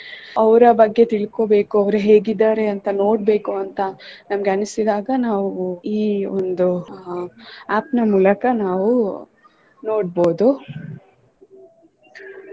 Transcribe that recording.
ಅವರ ಬಗ್ಗೆ ತಿಳಕೋಬೇಕು ಅವ್ರು ಹೇಗಿದ್ದಾರೆ ಅಂತ ನೋಡ್ಬೇಕು ಅಂತ ನಮಗೆ ಅನಿಸಿದಾಗ ನಾವು ಈ ಒಂದು app ನ ಮೂಲಕ ನಾವು ನೋಡ್ಬೋದು.